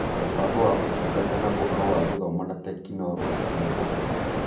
Mũbango wa Ũtungata na Ũhoro wa Gĩthomo na Tekinoronjĩ cia Ũhoro